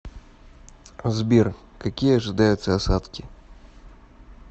сбер какие ожидаются осадки